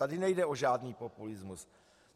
Tady nejde o žádný populismus.